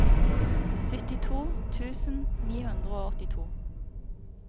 syttito tusen ni hundre og åttito